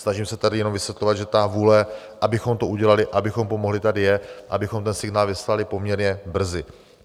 Snažím se tady jenom vysvětlovat, že ta vůle, abychom to udělali, abychom pomohli, tady je, abychom ten signál vyslali poměrně brzy.